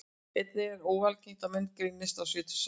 Einnig er ekki óalgengt að menn greinist á sjötugsaldri.